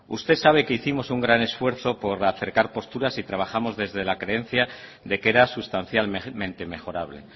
usted sabe que hicimos un gran esfuerzo por acercar posturas y trabajamos desde la creencia de que era sustancialmente mejorable